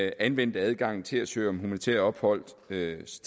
anvendte adgangen til at søge om humanitær opholdstilladelse